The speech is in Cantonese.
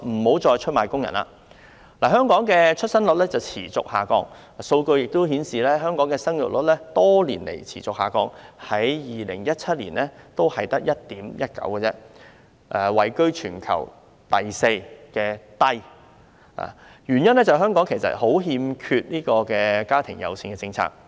本港的出生率持續下降，數據亦顯示，香港的生育率多年來持續下降 ，2017 年只有 1.19， 位居全球第四低位，原因在於香港嚴重欠缺"家庭友善"的政策。